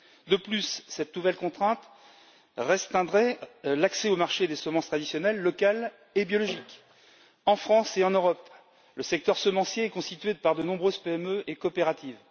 De plus, cette nouvelle contrainte restreindra l'accès au marché des semences traditionnelles locales et biologiques. En France et en Europe, le secteur semencier est constitué par de nombreuses PME et coopératives.